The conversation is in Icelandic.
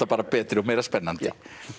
bara betri og meira spennandi